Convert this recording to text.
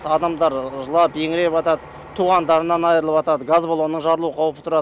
адамдар жылап еңіреватады туғандарынан айырылыватады газ баллоны жарылу қаупі тұрады